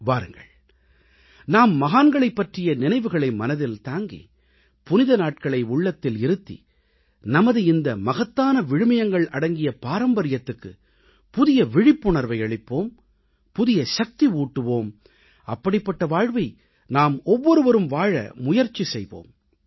வாருங்கள் நாம் மகான்களைப் பற்றிய நினைவுகளை மனதில் தாங்கி புனித நாட்களை உள்ளத்தில் இருத்தி நமது இந்த மகத்தான விழுமியங்கள் அடங்கிய பாரம்பரியத்துக்குப் புதிய விழிப்புணர்வை அளிப்போம் புதிய சக்தி ஊட்டுவோம் அப்படிப்பட்ட வாழ்வை நாம் ஒவ்வொருவரும் வாழ முயற்சி செய்வோம்